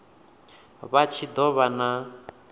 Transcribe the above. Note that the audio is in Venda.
vha tshi do vha na